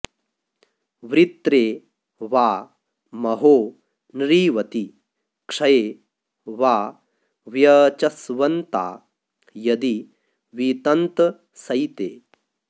वृत्रे वा महो नृवति क्षये वा व्यचस्वन्ता यदि वितन्तसैते